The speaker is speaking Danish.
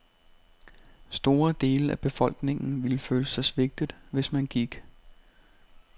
Store dele af befolkningen ville føle sig svigtet, hvis man gik.